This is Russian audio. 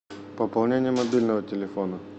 пополнение мобильного телефона